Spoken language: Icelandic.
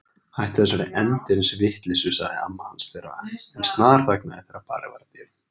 Hættu þessari endemis vitleysu sagði amma hans en snarþagnaði þegar barið var að dyrum.